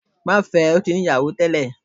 Má fẹ, o ti ni ìyáwó tẹlẹ!